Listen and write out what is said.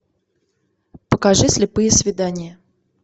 покажи слепые свидания